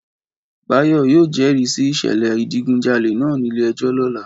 Báyọ̀ yóò jẹ́rìí sí ìṣẹ̀lẹ̀ ìdigunjalè náà nílé ẹjọ́ lọ́la